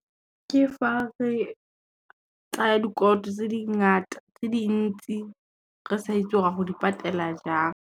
Ke fa re tsaya dikoloto tse dintsi, re sa itse gore ro di patela jang.